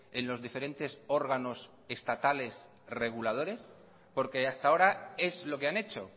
en los diferentes órganos estatales reguladores porque hasta ahora es lo que han hecho